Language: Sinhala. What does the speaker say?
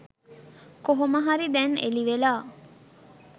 කෝමහරි දැන් එලි වෙලා.